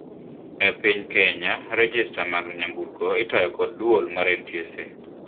Ei piny kenya rejesta mar gecheni itayo kod guol mar NTSA.